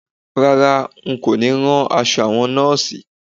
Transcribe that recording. Rárá, n kò ní rán aṣọ àwọn Nọ́ọ̀sì